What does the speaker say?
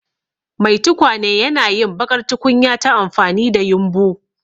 Mai tukwane yana yin baƙar tukunya ta amfani da yumbu.